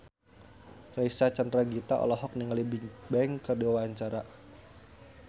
Reysa Chandragitta olohok ningali Bigbang keur diwawancara